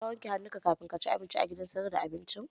Shin ka wanke hannunka kamin ka ci abinci a gidan sayar da abincin?